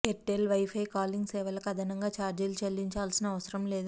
Airtel wifi calling సేవలకు అదనంగా ఛార్జీలు చెల్లించాల్సిన అవసరం లేదు